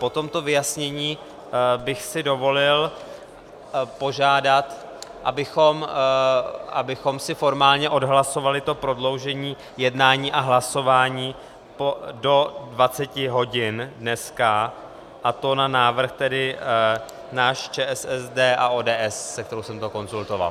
Po tomto vyjasnění bych si dovolil požádat, abychom si formálně odhlasovali to prodloužení jednání a hlasování do 20 hodin dneska, a to na návrh tedy náš, ČSSD a ODS, se kterou jsem to konzultoval.